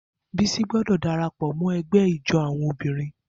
Bisi gbọdọ darapọ mọ ẹgbẹ ijó awọn obinrin.